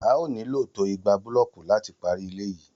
A óò nílò tó ìgbà búlọ́ọ̀kù láti parí ilé yìí